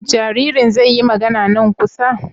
Jaririn zai yi magana nan kusa?